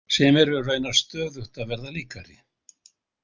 Sem eru raunar stöðugt að verða líkari.